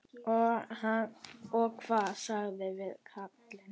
Og hvað sagðirðu við kallinn?